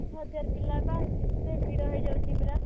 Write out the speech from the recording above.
ହଜ଼ାର ପିଲା ବା ଏତେ ଭିଡ ହେଇଯାଉଛି ପୁରା